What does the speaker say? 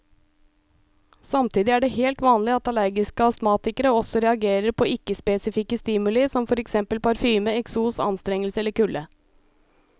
Samtidig er det helt vanlig at allergiske astmatikere også reagerer på ikke spesifikke stimuli som for eksempel parfyme, eksos, anstrengelse eller kulde.